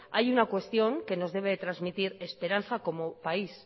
hay una cuestión que nos debe de transmitir esperanza como país